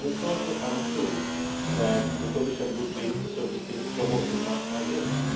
context. It is also untrue that the Commission would be, so to speak, promoting mass